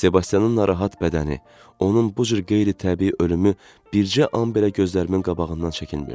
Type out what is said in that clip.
Sebastianın narahat bədəni, onun bu cür qeyri-təbii ölümü bircə an belə gözlərimin qabağından çəkinmirdi.